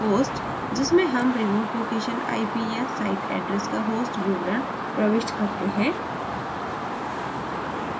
hostजिसमें हम remote location ip या site address का host विवरण enter करते हैं